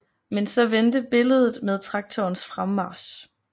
Men så vendte billedet med traktorens fremmarch